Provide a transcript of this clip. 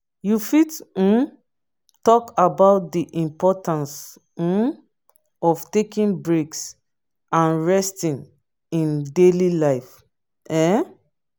you fit um talk about di importance um of taking breaks and resting in daily life. um